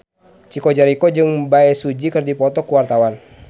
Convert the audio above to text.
Chico Jericho jeung Bae Su Ji keur dipoto ku wartawan